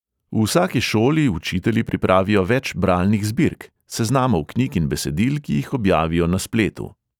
V vsaki šoli učitelji pripravijo več bralnih zbirk – seznamov knjig in besedil, ki jih objavijo na spletu.